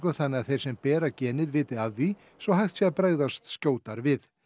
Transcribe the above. þannig að þeir sem bera genið viti af því svo hægt sé að bregðast skjótar við